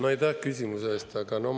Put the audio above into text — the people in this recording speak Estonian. Aitäh küsimuse eest!